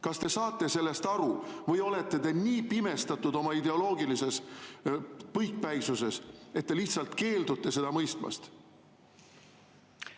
Kas te saate sellest aru või olete te nii pimestatud oma ideoloogilises põikpäisuses, et te lihtsalt keeldute seda mõistmast?